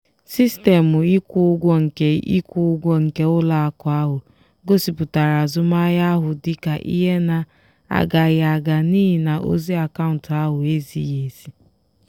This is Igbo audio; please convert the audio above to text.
sistemụ ịkwụ ụgwọ nke ịkwụ ụgwọ nke ụlọakụ ahụ gosipụtara azụmahịa ahụ dị ka ihe na-agaghị aga n'ihi na ozi akaụntụ ahụ ezighị ezi.